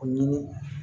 O ɲini